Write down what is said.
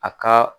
A ka